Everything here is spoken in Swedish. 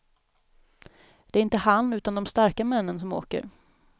Det är inte han, utan de starka männen som åker.